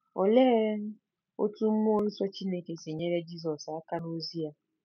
Olee otú mmụọ nsọ Chineke si nyere Jizọs aka n’ozi ya?